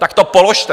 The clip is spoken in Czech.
Tak to položte.